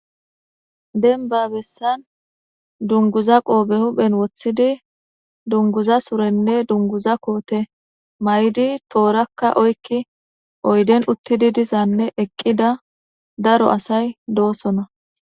denba bessan dunguza qoobe huphen woththidi dunguza surenne dunguza koote maydi toorakka oykki oyden uttidi dizanne eqqida daro asay doosona